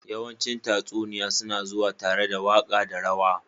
yawancin tatsuniya suna zuwa tare da waƙa da rawa.